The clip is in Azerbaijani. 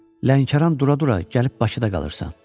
Lənkəran dura-dura gəlib Bakıda qalırsan.